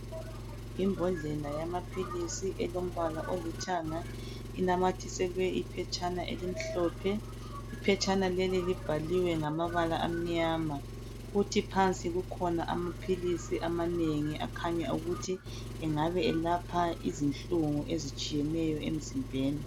Imbodlela yamaphilisi elombala olithanga inamathiselwe iphetshana elimhlophe iphetshana leli libhaliwe ngamabala amnyama kuthi phansi kukhona amaphilisi amanengi akhanya ukuthi engabe elapha izinhlungu ezitshiyeneyo emzimbeni.